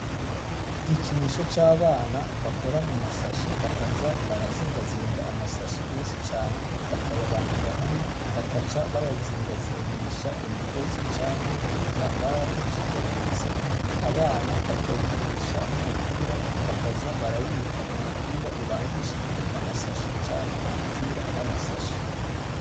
Igikinisho c'abana bakora mu mashashe bakaza barazingazinga amasashe menshi cane bakayabangira hamwe bakaca bayazingazingisha imigozi canke ibitambara bicikaguritse, abana bakawukinisha nk'umupira bakaza barawita umupira ubangishijwe amasashe canke umupira w'amasashe.